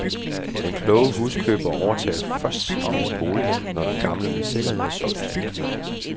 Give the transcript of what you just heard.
Den kloge huskøber overtager først sin nye bolig, når den gamle med sikkerhed er solgt.